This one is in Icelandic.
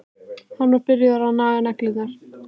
Hann er byrjaður að naga neglurnar.